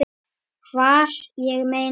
Hvar, ég meina.